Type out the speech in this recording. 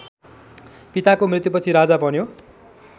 पिताको मृत्युपछि राजा बन्यो